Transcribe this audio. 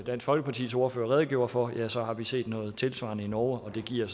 folkepartis ordfører redegjorde for ja så har vi set noget tilsvarende i norge og det giver